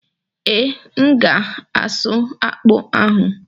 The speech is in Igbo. Ee, M ga-asụ akpụ ahụ.